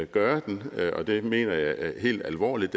gøre det og det mener jeg helt alvorligt